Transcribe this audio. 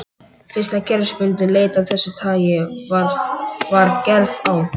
Fyrsta kerfisbundin leit af þessu tagi var gerð á